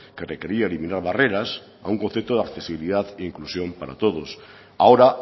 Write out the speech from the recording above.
que requería eliminar barreras a un concepto de accesibilidad e inclusión para todos ahora